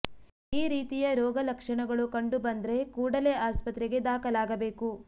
ಈ ರೀತಿಯ ರೋಗ ಲಕ್ಷಣಗಳು ಕಂಡು ಬಂದ್ರೆ ಕೂಡಲೇ ಆಸ್ಪತ್ರೆಗೆ ದಾಖಲಾಗಬೇಕು